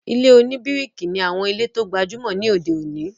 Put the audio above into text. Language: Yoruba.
Ilé-oníbíríkì ní àwọn ilé tó gbajúmọ̀ ní òde òní